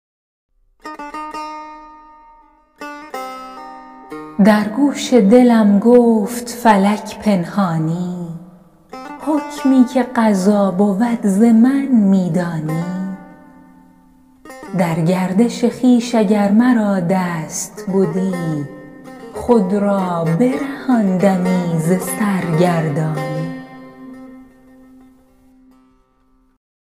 در گوش دلم گفت فلک پنهانی حکمی که قضا بود ز من می دانی در گردش خویش اگر مرا دست بدی خود را برهاندمی ز سرگردانی